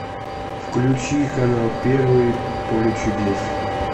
включи канал первый поле чудес